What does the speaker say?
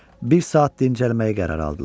Bir saat dincəlməyə qərar aldılar.